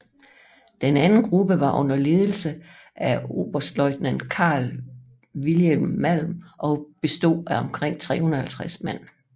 Den anden gruppe var under ledelse af oberstløjtnant Carl Wilhelm Malm og bestod af omkring 350 mand